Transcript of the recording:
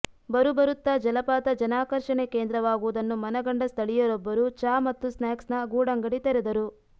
ಬರುಬರುತ್ತಾ ಜಲಪಾತ ಜನಾಕರ್ಷಣೆ ಕೇಂದ್ರವಾಗುವುದನ್ನು ಮನಗಂಡ ಸ್ಥಳೀಯರೊಬ್ಬರು ಚಾ ಮತ್ತು ಸ್ನ್ಯಾಕ್ಸ್ ನ ಗೂಡಂಗಡಿ ತೆರೆದರು